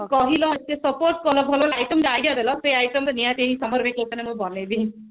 କହିଲ ଏତେ support କଲ ଭଲ ଭଲ item ର idea ଡେଲ ସେ item ତ ନିହାତି summer vacation ରେ ମୁଁ ତ ବନେଇବି